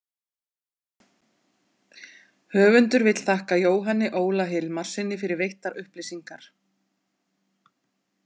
Höfundur vill þakka Jóhanni Óla Hilmarssyni fyrir veittar upplýsingar.